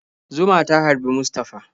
Zuma ta harbi Mustafa.